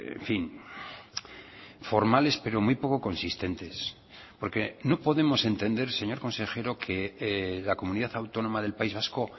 en fin formales pero muy poco consistentes porque no podemos entender señor consejero que la comunidad autónoma del país vasco